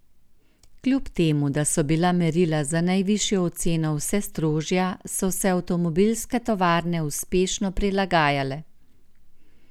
Kljub temu da so bila merila za najvišjo oceno vse strožja, so se avtomobilske tovarne uspešno prilagajale.